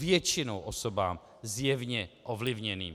Většinou osobám zjevně ovlivněným.